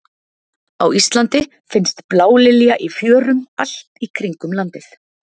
á íslandi finnst blálilja í fjörum allt í kringum landið